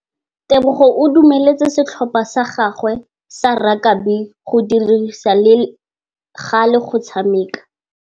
Tebogô o dumeletse setlhopha sa gagwe sa rakabi go dirisa le galê go tshameka.